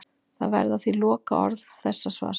Það verða því lokaorð þessa svars.